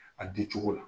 A di cogo la